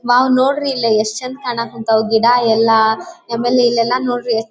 ನಾವು ನೊಡ್ರಿಲ್ಲಿ ಎಷ್ಟು ಚಂದ ಕಾಣ ಕಥಾವ್ ಗಿಡಯೆಲ್ಲ ಆಮೇಲೆ ಇಲ್ಲಿ ಎಲ್ಲ ನೋಡಿ --